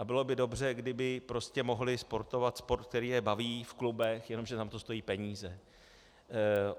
A bylo by dobře, kdyby prostě mohli sportovat sport, který je baví v klubech, jenomže tam to stojí peníze.